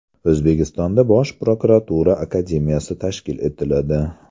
O‘zbekistonda Bosh prokuratura akademiyasi tashkil etiladi.